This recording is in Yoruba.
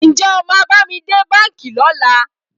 Ǹjẹ́ o máa bá mi dé báńkì lọ́la?